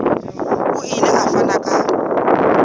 o ile a fana ka